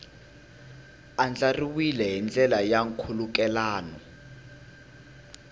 andlariwile hi ndlela ya nkhulukelano